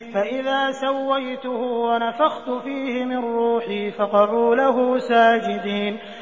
فَإِذَا سَوَّيْتُهُ وَنَفَخْتُ فِيهِ مِن رُّوحِي فَقَعُوا لَهُ سَاجِدِينَ